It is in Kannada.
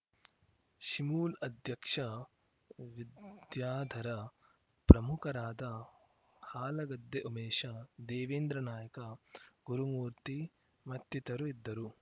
ಶಿಮೂಲ್‌ ಅಧ್ಯಕ್ಷ ವಿದ್ಯಾಧರ ಪ್ರಮುಖರಾದ ಹಾಲಗದ್ದೆ ಉಮೇಶ ದೇವೇಂದ್ರ ನಾಯ್ಕ ಗುರುಮೂರ್ತಿ ಮತ್ತಿತರು ಇದ್ದರು